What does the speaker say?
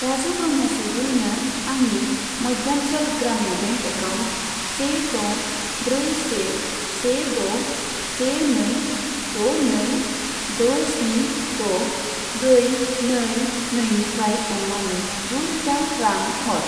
राजु ब्रह्म चौधुरिनो आंनि Madhyanchal Gramin bank account से द' ब्रै से से द' से नै द' नै द' स्नि द' ब्रै नै नैनिफ्राय अन्नानै गुरोजा रां हर।